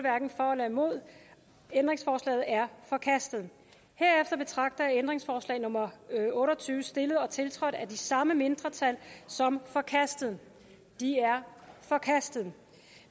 ændringsforslaget er forkastet herefter betragter jeg ændringsforslag nummer otte og tyve stillet og tiltrådt af de samme mindretal som forkastet det er forkastet